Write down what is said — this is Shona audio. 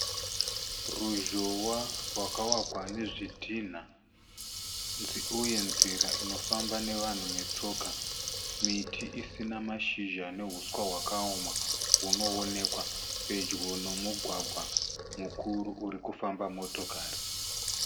Ruzhowa rwakavakwa nezvidhinha uye nzira inofamba nevanhu vetsoka. Miti isina mashizha nehuswa hwakaoma hunoonekwa pedyo nomugwagwa mukuru uri kufamba motokari.